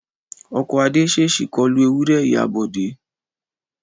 Ọkọ̀ Adé ṣèṣì kọlu ewúré ìyá Bọ̀dé